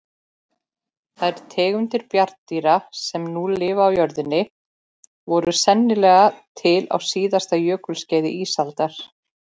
Þær tegundir bjarndýra sem nú lifa á jörðinni voru sennilega til á síðasta jökulskeiði ísaldar.